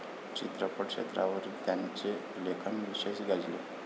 चित्रपट क्षेत्रावरील त्यांचे लेखन विशेष गाजले.